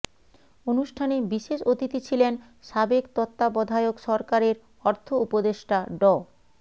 অনুষ্ঠানে বিশেষ অতিথি ছিলেন সাবেক তত্ত্বাবধায়ক সরকারের অর্থ উপদেষ্টা ড